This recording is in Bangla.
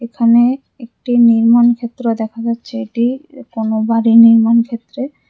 এখানে একটি নির্মাণ ক্ষেত্র দেখা যাচ্ছে এটি কোনো বাড়ি নির্মাণ ক্ষেত্রে--